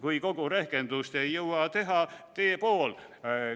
Kui kogu rehkendust ei jõua teha, tee pool.